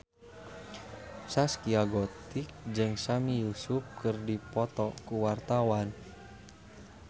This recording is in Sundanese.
Zaskia Gotik jeung Sami Yusuf keur dipoto ku wartawan